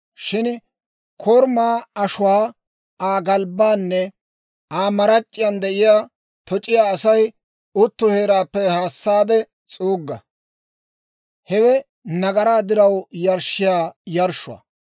Shin korumaa ashuwaa, Aa galbbaanne Aa marac'c'iyaan de'iyaa toc'iyaa Asay utto heeraappe haasaade s'uugga; hewe nagaraa diraw yarshshiyaa yarshshuwaa.